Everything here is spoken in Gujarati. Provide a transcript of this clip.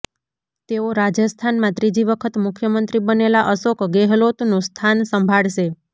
તેઓ રાજસ્થાનમાં ત્રીજી વખત મુખ્યમંત્રી બનેલા અશોક ગેહલોતનું સ્થાન સંભાળશે